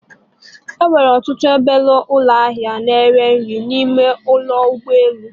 E nwere ọtụtụ obele ụlọ ahịa na ere nri n'ime ụlọ ụgbọ elu